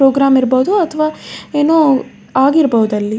Program ಇರ್ಬಹುದು ಅಥವಾ ಏನೋ ಆಗಿರ್ಬಹುದು ಅದ್ರಲ್ಲಿ.